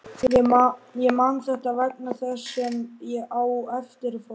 Ég man þetta vegna þess sem á eftir fór.